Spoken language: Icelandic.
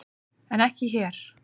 En ekki hér!